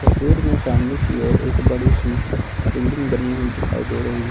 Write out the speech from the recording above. तस्वीर में सामने की ओर एक बड़ी सी बिल्डिंग बनी हुई दिखाई दे रही है।